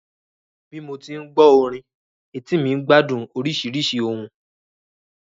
Bí mo tí ń gbọ́ orin, etí mi ń gbádùn oríṣiríṣi ohùn